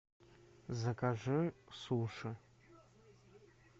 закажи суши